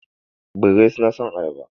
Birrai suna son ayaba.